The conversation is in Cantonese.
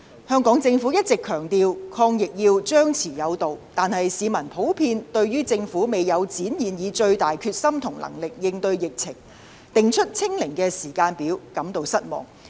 香港政府一直強調抗疫要"張弛有度"，但市民普遍對政府未有展現最大決心和能力應對疫情，訂出"清零"時間表感到失望。